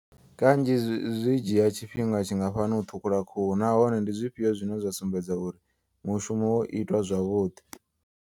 Kanzhi zwi dzhia tshifhinga tshingafhani u ṱhukhula khuhu. Nahone ndi zwifhio zwine zwa sumbedza uri mushumo wo itwa zwavhuḓi.